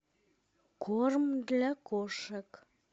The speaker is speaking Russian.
корм для кошек